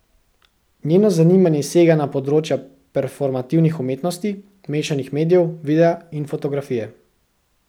Njeno zanimanje sega na področja performativnih umetnosti, mešanih medijev, videa in fotografije.